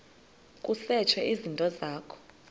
kusetshwe izinto zakho